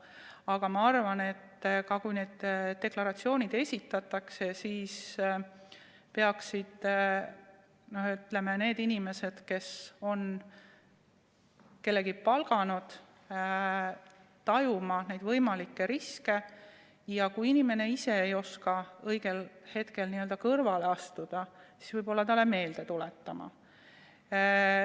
Aga ma arvan, et kui need deklaratsioonid esitatakse, siis peaksid ka need inimesed, kes on kellegi palganud, tajuma võimalikke riske, ja kui töötaja ise ei oska õigel hetkel kõrvale astuda, siis võib-olla seda talle meelde tuletama.